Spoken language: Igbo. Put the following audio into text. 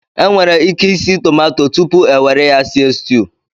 E nwere ike isi tomato tupu enwere ya sie stuu.